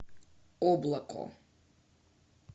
облако